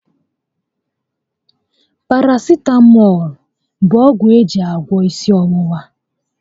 Parasitamọlụ bu ọgwụ eji agwọ ịsị ọwụwa